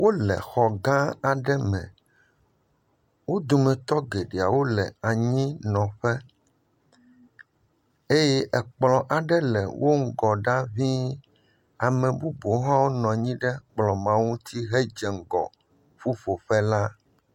Wo le xɔ gã aɖe me. Wo dometɔ geɖea wo le anyinɔƒe eye ekplɔ ɖe le wo ŋgɔ ɖa ŋii. Ame bubuwo hã nɔ anyi ɖe kplɔ ma ŋuti hedze ŋgɔ ƒuƒoƒea.